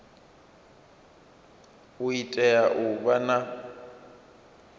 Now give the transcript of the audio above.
u tea u vha na